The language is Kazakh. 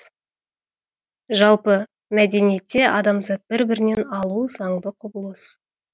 жалпы мәдениетте адамзат бір бірінен алу заңды құбылыс